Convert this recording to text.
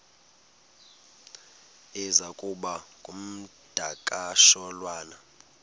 iza kuba ngumdakasholwana